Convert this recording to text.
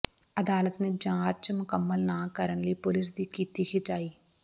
ਅਦਾਲਤ ਨੇ ਜਾਂਚ ਮੁਕੰਮਲ ਨਾ ਕਰਨ ਲਈ ਪੁਲਿਸ ਦੀ ਕੀਤੀ ਖਿਚਾਈ